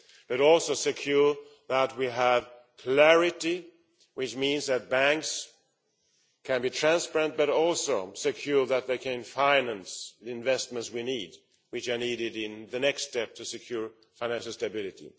But we shall also ensure that we have clarity, which means that banks can be transparent but also secure, so that they can finance the investments we need, which are needed in the next step to secure financial stability.